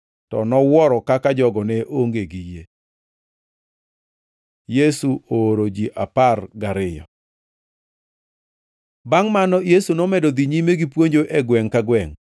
To nowuoro kaka jogo ne onge gi yie. Yesu ooro ji apar gariyo Bangʼ mano Yesu nomedo dhi nyime gipuonjo e gwengʼ ka gwengʼ